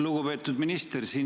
Lugupeetud minister!